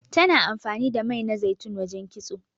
Tana amfani da mai na zaitun wajen kitso.